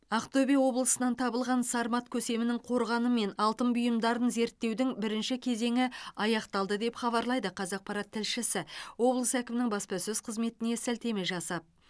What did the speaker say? ақтөбе облысынан табылған сармат көсемінің қорғаны мен алтын бұйымдарын зерттеудің бірінші кезеңі аяқталды деп хабарлайды қазақпарат тілшісі облыс әкімінің баспасөз қызметіне сілтеме жасап